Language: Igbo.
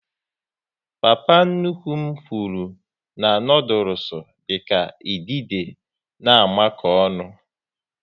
Papa nnukwu m nwuru na noodules dịka idide na amako ọnụ